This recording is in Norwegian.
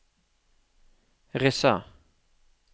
Rissa